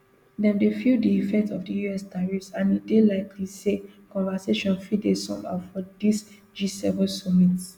dem dey feel di effect of di us tariffs and e dey likely say conversation fit dey some how for dis gseven summit